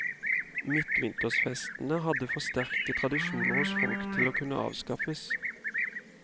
Midtvintersfestene hadde for sterke tradisjoner hos folk til å kunne avskaffes.